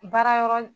Baara yɔrɔ